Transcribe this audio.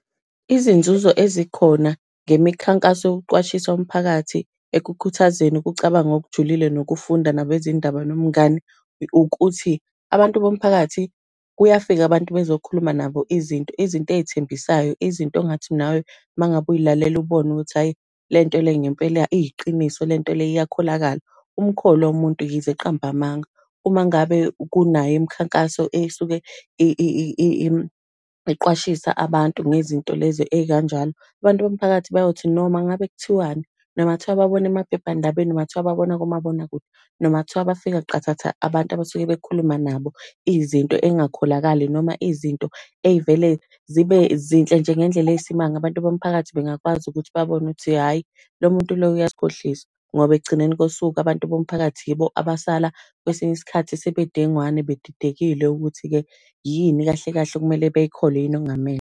Izinzuzo ezikhona, ngemikhankaso yokuqwashisa umphakathi ekukhuthazeni ukucabanga okujulile, nokufunda nabezindaba nomngani, ukuthi abantu bomphakathi, kuyafika abantu bezokhuluma nabo izinto, izinto ey'thembisayo, izinto ongathi nawe uma ngabe uy'lalela ubone ukuthi hhayi, lento le ngempela iyiqiniso, lento le iyakholakala. Umkholwa umuntu yize eqamba amanga. Uma ngabe kunayo Imikhankaso esuke iqwashisa abantu ngezinto lezi ey'kanjalo, abantu bomphakathi bayothi noma ngabe kuthiwani, noma ngathiwa babona emaphephandabeni noma ngathiwa babona kumabonakude, noma ngathiwa bafika qathatha abantu abasuke bekhuluma nabo, izinto ey'ngakholakali, noma izinto ey'vele zibe zinhle nje ngendlela eyisimanga. Abantu bomphakathi bengakwazi ukuthi babone ukuthi hhayi lo muntu lo uyasikhohlisa. Ngoba ekugcineni kosuku, abantu bomphakathi yibo abasala kwesinye isikhathi sebebudengwane bedidekile ukuthi-ke, yini kahle kahle okumele beyikholwe, yini okungamele.